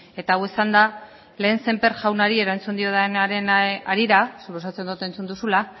eta hau esanda lehen sémper jaunari erantzun diodanaren harira suposatzen dut entzun duzula